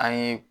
An ye